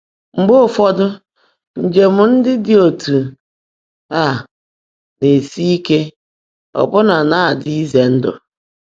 Mgbe ụfọ́dụ́, ńjẹ̀m ndị́ ḍị́ ọ́tú́ á ná-èsi íke, ọ́bụ́ná ná-ádị́ ízè ndụ́.